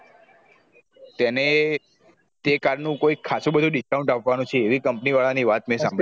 તેને તે car નું ખાશું બધું discount આપવાનું છે એવી company વાળા ની વાત મેં સાંભળી